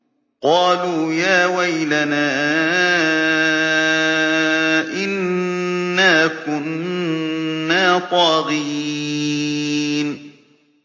قَالُوا يَا وَيْلَنَا إِنَّا كُنَّا طَاغِينَ